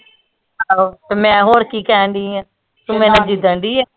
ਆਹੋ ਤੇ ਮੈ ਹੋਰ ਕੀ ਕਹਿਣ ਡਈ ਆ ਤੂੰ ਮੇਰੇ ਨਾ ਜਿੱਦਣ ਡਈ ਏਂ